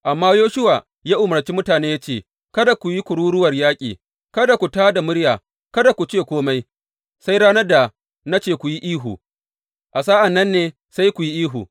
Amma Yoshuwa ya umarci mutane ya ce, Kada ku yi kururuwar yaƙi, kada ku tā da murya, kada ku ce kome, sai ranar da na ce ku yi ihu, a sa’an nan ne sai ku yi ihu!